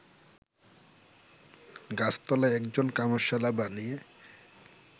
গাছতলায় একজন কামারশালা বানিয়ে